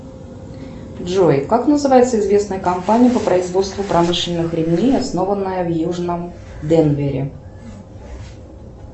джой как называется известная компания по производству промышленных ремней основанная в южном денвере